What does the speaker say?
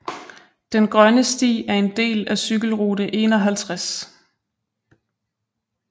Den Grønne Sti er en del af cykelrute 51